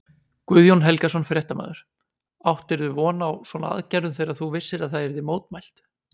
Guðjón Helgason, fréttamaður: Áttirðu von á svona aðgerðum þegar þú vissir að það yrði mótmælt?